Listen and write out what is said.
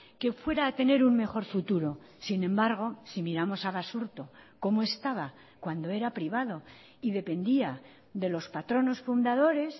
que fuera a tener un mejor futuro sin embargo si miramos a basurto cómo estaba cuando era privado y dependía de los patronos fundadores